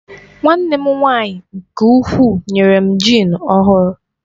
Nwanne m nwaanyị nke ukwuu nyere m jịn ọhụrụ.